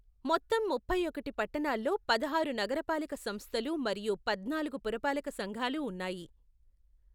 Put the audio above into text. మొత్తం ముప్పై ఒకటి పట్టణాల్లో పదహారు నగరపాలక సంస్థలు మరియుపద్నాలుగు పురపాలక సంఘాలు ఉన్నాయి.